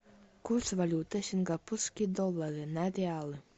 курс валюты сингапурские доллары на реалы